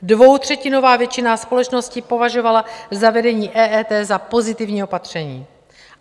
Dvoutřetinová většina společnosti považovala zavedení EET za pozitivní opatření.